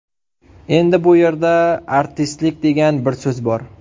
Endi bu yerda ‘artistlik’ degan bir so‘z bor.